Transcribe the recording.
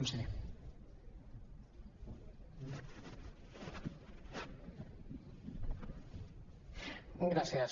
gràcies